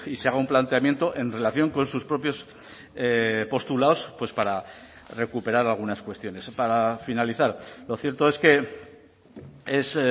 se haga un planteamiento en relación con sus propios postulados pues para recuperar algunas cuestiones para finalizar lo cierto es que es